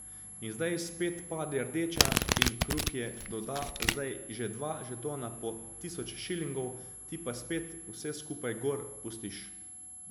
In zdaj spet pade rdeča in krupje doda zdaj že dva žetona po tisoč šilingov, ti pa spet vse skupaj gor pustiš.